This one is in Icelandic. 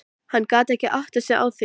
Hann gat ekki áttað sig á því.